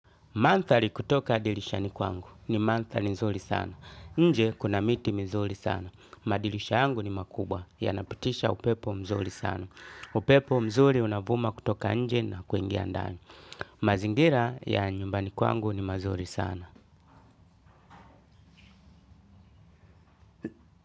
Mandhali kutoka dirishani kwangu. Ni mandhali nzuri sana. Nje kuna miti mizuri sana. Madilisha yangu ni makubwa. Yanapitisha upepo mzuri sana. Upepo mzuri unavuma kutoka nje na kuingia ndani. Mazingira ya nyumbani kwangu ni mazuri sana.